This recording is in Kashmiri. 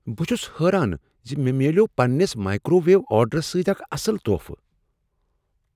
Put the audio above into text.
بہٕ چھس حٲران ز مےٚ ملیوٚو پنٛنس مایکروویو آرڈرس سۭتۍ اکھ اصٕل تحفہٕ۔